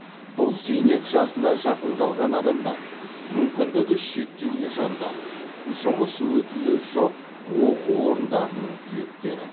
бұл зейнет жасына жақын қалған адамдар мүмкіндігі шектеулі жандар жұмыс өтілі жоқ оқу орындарының түлектері